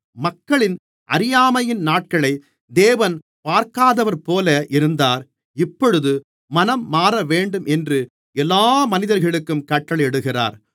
மக்களின் அறியாமையின் நாட்களை தேவன் பார்க்காதவர்போல இருந்தார் இப்பொழுது மனம் மாறவேண்டும் என்று எல்லா மனிதர்களுக்கும் கட்டளையிடுகிறார்